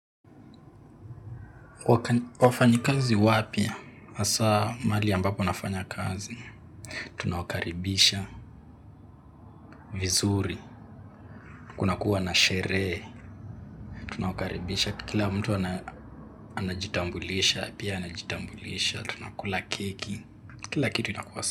Wafanyi kazi wapi? Hasaa mali ambapo nafanya kazi. Tunawakaribisha, vizuri. Kuna kuwa na sherehe. Tunawakaribisha kila mtu anajitambulisha, pia anajitambulisha. Tunakula keki, kila kitu inakuwa.